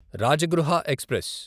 Rajagriha express